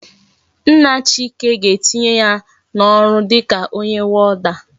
Nna chike ga etinye ya na oru dika onye warder